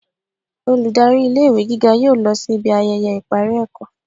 olùdarí ilé ìwé gígá yóò lọ si ibi ayẹyẹ ipari ẹkọ